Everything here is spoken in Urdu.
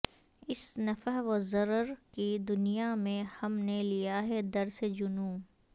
اس نفع و ضرر کی دنیا میں ہم نے لیا ہے درس جنوں